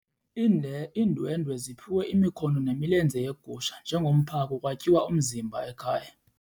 Iindwendwe ziphiwe imikhono nemilenze yegusha njengomphako kwatyiwa umzimba ekhaya.